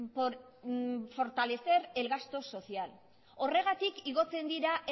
por fortalecer el gasto social horregatik igotzen dira